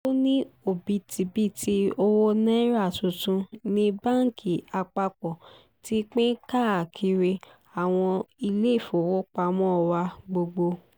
ó ní òbítíbitì owó náírà tuntun ní báńkì àpapọ̀ ti pín káàkiri àwọn iléèfowópamọ́ wa gbogbo